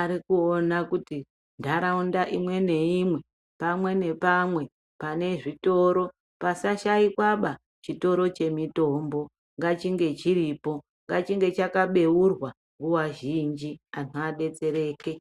arikuona kuti ntaraunda imwe ngaimwe, pamwe nepamwe pane zvitoro pasashakwaba chitoro chemutombo ngachinge chiripo ngachinge chakabeurwa nguwa zhinji anhu abetsereke.